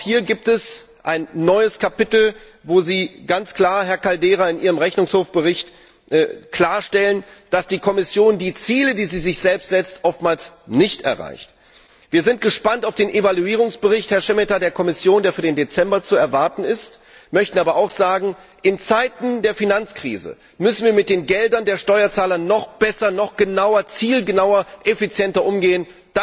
Auch hier gibt es ein neues Kapitel, wo Sie, Herr Caldeira, in Ihrem Bericht des Rechnungshofs, klarstellen, dass die Kommission die Ziele, die sie sich selbst setzt, oftmals nicht erreicht. Herr Šemeta, wir sind gespannt auf den Evaluierungsbericht der Kommission, der für Dezember zu erwarten ist, möchten aber auch sagen In Zeiten der Finanzkrise müssen wir mit den Geldern der Steuerzahler noch besser, noch genauer, zielgenauer, effizienter umgehen.